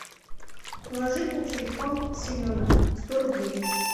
положить на телефон семена сто рублей